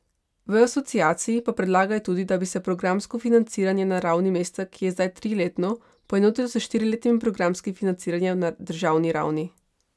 V Asociaciji pa predlagajo tudi, da bi se programsko financiranje na ravni mesta, ki je zdaj triletno, poenotilo s štiriletnim programskim financiranjem na državni ravni.